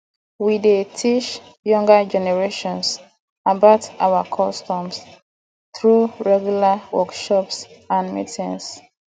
we dey teach younger generation about our customs through regular workshops and meetings